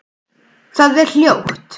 Það er hljótt.